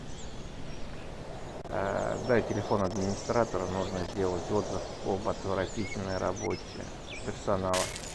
дай телефон администратора нужно сделать отзыв об отвратительной работе персонала